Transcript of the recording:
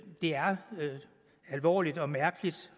er alvorligt og mærkeligt